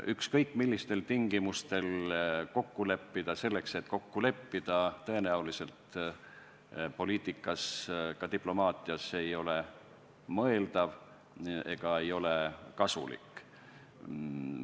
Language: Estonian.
Ükskõik millistel tingimustel kokku leppida selleks, et midagi kokku leppida, ei ole poliitikas ega ka diplomaatias tõenäoliselt mõeldav ega kasulik.